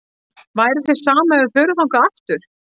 Væri þér sama ef við förum þangað aftur?-